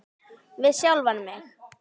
Við sjálfan mig.